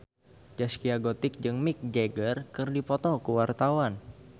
Zaskia Gotik jeung Mick Jagger keur dipoto ku wartawan